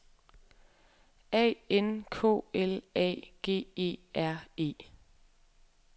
A N K L A G E R E